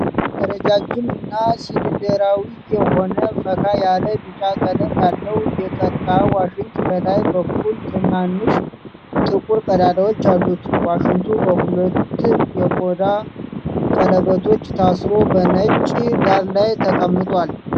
ረጃጅም እና ሲሊንደራዊ የሆነ ፈካ ያለ ቢጫ ቀለም ያለው የቀርከሃ ዋሽንት ከላይ በኩል ትናንሽ ጥቁር ቀዳዳዎች አሉት። ዋሽንቱ በሁለት የቆዳ ቀለበቶች ታስሮ በነጭ ዳራ ላይ ተቀምጧል።